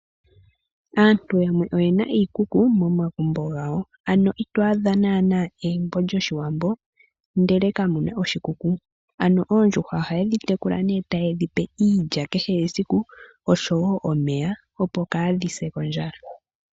Aantu yamwe oyena iikuku momagumbo gawo ,ano ito adha nana egumbo lyoshiwambo ndele kamuna oshikuku. Ano oondjuhwa ohaye dhitekula nee taye dhipe iilya kehe esiku osho woo omeya opo kadhi se kondjala nokenota.